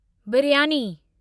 biryani